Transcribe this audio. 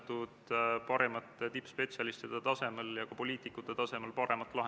Muudatusettepanekute esitamise tähtajaks ei esitatud eelnõu kohta ühtegi muudatusettepanekut.